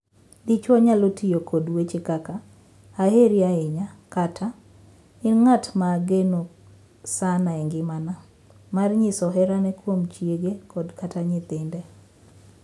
Dichwo nyalo tiyo kod weche kaka “aheri ahinya”, kata “in ng’at ma ageno sana e ngimana” mar nyiso herane kuom chiege kod kata nyithinde.